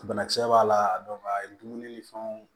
Banakisɛ b'a la a ye dumuni ni fɛnw